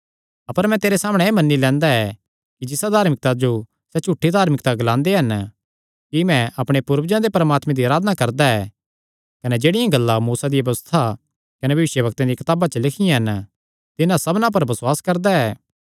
अपर मैं तेरे सामणै एह़ मन्नी लैंदा ऐ कि जिसा धार्मिकता जो सैह़ झूठी धार्मिकता ग्लांदे हन कि मैं अपणे पूर्वजां दे परमात्मे दी अराधना करदा ऐ कने जेह्ड़ियां गल्लां मूसा दिया व्यबस्था कने भविष्यवक्ता दियां कताबा च लिखियां हन तिन्हां सबना पर बसुआस करदा ऐ